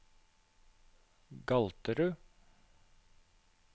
Galterud